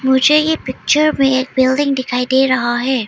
मुझे ये पिक्चर में एक बिल्डिंग दिखाई दे रहा है।